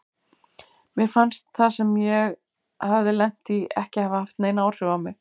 Mér fannst það sem ég hafði lent í ekki hafa haft nein áhrif á mig.